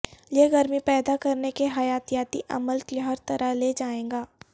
یہ گرمی پیدا کرنے کے حیاتیاتی عمل کی ہر طرح لے جائے گا